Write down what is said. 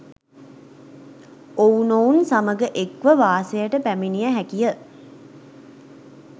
ඔවුනොවුන් සමඟ එක්ව වාසයට පැමිණිය හැකි ය.